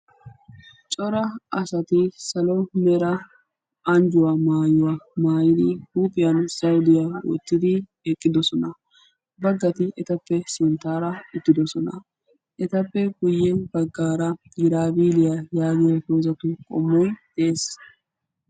Cora asati salo mera anjjuwa maayuwaa maayidi huuphiyan zawudiyaa wottidi eqqidosona. Baggati etappe sinttaara uttidosona. Etappe guyye baggaara "giraabiilliyaa" yaagiyooo dozzatu qommoy de'ees.